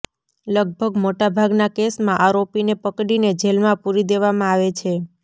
લગભગ મોટા ભાગના કેસમાં આરોપીને પકડીને જેલમાં પૂરી દેવામાં આવે છે